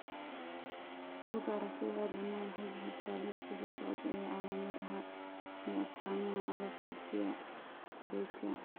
Bugaa aragtida aDdanaha waxay bixisaa liiska soo socda ee calaamadaha iyo astaamaha alopecia areata.